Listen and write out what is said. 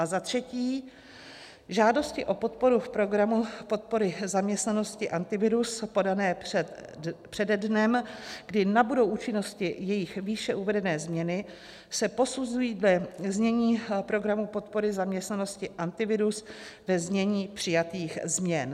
A za třetí, žádosti o podporu v Programu podpory zaměstnanosti Antivirus podané přede dnem, kdy nabudou účinnosti jejich výše uvedené změny, se posuzují ve znění Programu podpory zaměstnanosti Antivirus ve znění přijatých změn.